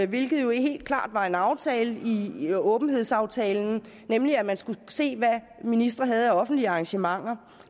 hvilket jo helt klart var en aftale i åbenhedsaftalen nemlig at man skulle se hvad ministre havde af offentlige arrangementer